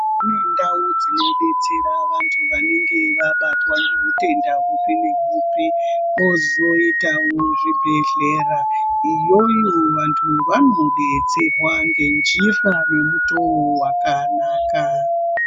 Kune ndau dzinodetsera vantu vanenge vabatwa ngeutenda hupi neuhupi. Kozoitawo zvibhedhlera, iyoyo vantu vanodetserwa ngenjira yemutowo wakanaka.